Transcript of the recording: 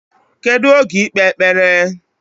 Kedu oge ikpe ekpere?